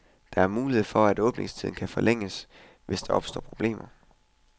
Der er mulighed for at åbningstiden kan forlænges, hvis der opstår problemer.